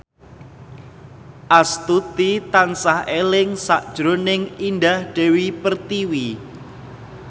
Astuti tansah eling sakjroning Indah Dewi Pertiwi